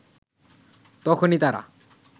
তখনই তারা